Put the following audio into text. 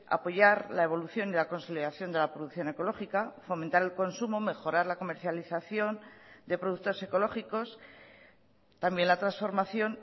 apoyar la evolución de la consolidación de la producción ecológica fomentar el consumo mejorar la comercialización de productos ecológicos también la transformación